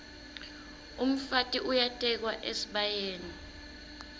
umfati uyatekwa esibayeni